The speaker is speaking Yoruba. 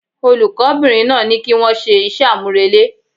Olùkó bìnrin náà ní kí wón se ise àmúrelé